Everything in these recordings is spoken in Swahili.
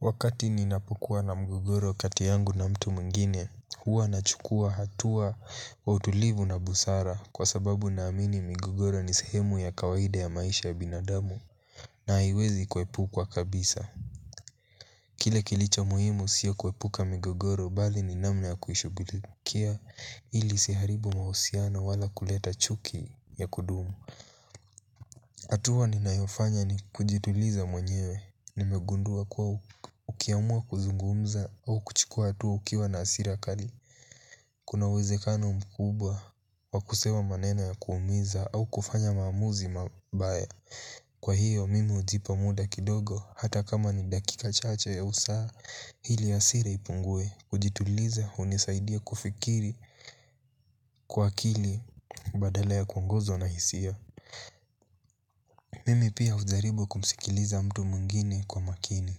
Wakati ninapukuwa na mgogoro kati yangu na mtu mwingine huwa nachukua hatua wa utulivu na busara kwa sababu naamini migogoro ni sehemu ya kawaida ya maisha ya binadamu na haiwezi kuepukwa kabisa. Kile kilicho muhimu sio kuepuka migogoro bali ni namna ya kuishugulikia ili isiharibu mahusiano wala kuleta chuki ya kudumu. Hatua ninayofanya ni kujituliza mwenyewe nimegundua kuwa ukiamua kuzungumza au kuchukua hatua ukiwa na hasira kali. Kuna uwezekano mkubwa wa kusema maneno ya kuumiza au kufanya maamuzi mabaya. Kwa hiyo mimi hujipa muda kidogo hata kama ni dakika chache ya usa. Ili hasira ipungie kujituliza hunisaidia kufikiri kwa akili badala ya kuongozwa na hisia. Mimi pia hujaribu kumsikiliza mtu mwingine kwa makini.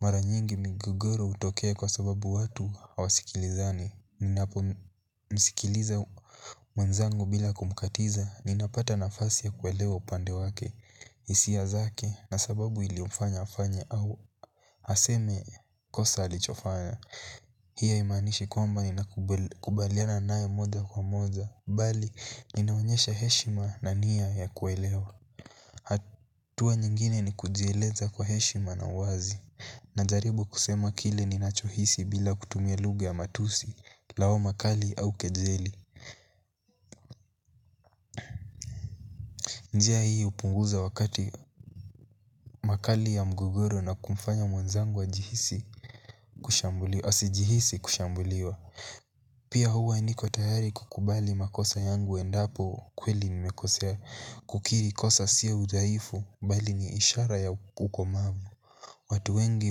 Mara nyingi migogoro hutokea kwa sababu watu hawasikilizani ninapo msikiliza mwenzangu bila kumkatiza ninapata nafasi ya kuelewa upande wake. Hisia zake na sababu iliyomfanya afanya au aseme kosa alichofanya. Hiyo haimaanishi kwamba ninakubaliana nae moja kwa moja. Bali, ninaonyesha heshima na nia ya kuelewa. Hatua nyingine ni kujieleza kwa heshima na uwazi. Najaribu kusema kile ni ninachohisi bila kutumia lugha ya matusi lawama kali au kejeli. Njia hii hupunguza wakati makali ya mgogoro na kumfanya mwanzangu ajihisi kushambuliwa. Asijihisi kushambuliwa. Pia huwa niko tayari kukubali makosa yangu endapo kweli nimekosea. Kukiri kosa sio udhaifu bali ni ishara ya ukomavu. Watu wengi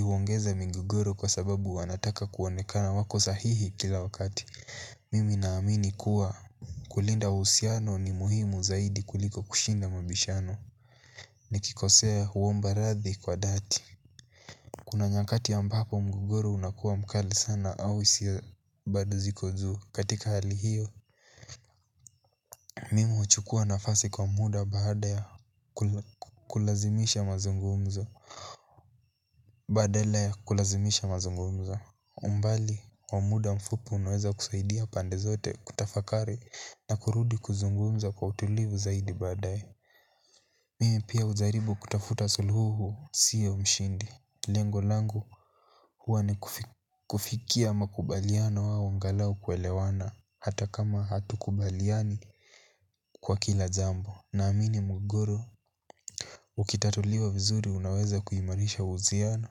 huongeza migogoro kwa sababu wanataka kuonekana wako sahihi kila wakati. Mimi naamini kuwa kulinda uhusiano ni muhimu zaidi kuliko kushinda mabishano. Nikikosea huomba radhi kwa dhati. Kuna nyakati ambapo mgogoro unakuwa mkali sana au hisia bado ziko juu katika hali hiyo. Mimi huchukua nafasi kwa muda baada ya kulazimisha mazungumzo. Badala ya kulazimisha mazungumzo. Umbali wa muda mfupi unaweza kusaidia pande zote kutafakari na kurudi kuzungumza kwa utulivu zaidi baadae. Mimi pia hujaribu kutafuta suluhu sio ushindi. Lengo langu huwa ni kufikia makubaliano au angalau kuelewana hata kama hatukubaliani kwa kila jambo naamini mgogoro ukitatuliwa vizuri unaweza kuimarisha uhusiano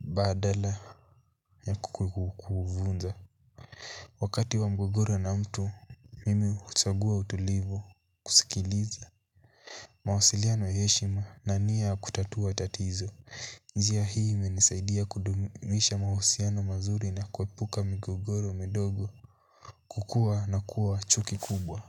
badala ya kuvunja. Wakati wa mgogoro na mtu, mimi huchagua utulivu kusikiliza mawasiliano ya heshima na nia kutatua tatizo. Njia hii imenisaidia kudumisha mahusiano mazuri na kuepuka mgogoro midogo kukua na kuwa chuki kubwa.